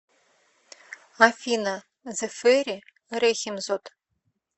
афина зэфэри рэхимзод